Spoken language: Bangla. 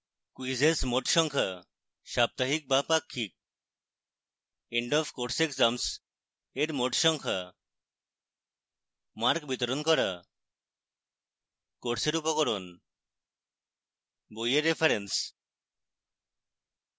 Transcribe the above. quizzes মোট সংখ্যা সাপ্তাহিক বা পাক্ষিক